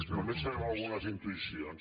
només sabem algunes intuïcions